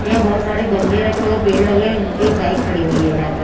यहाँ बहुत सारे गमले रखे हुए हैं पेड़ लगे हैं एक बाइक खड़ी हुई है यहाँ पर।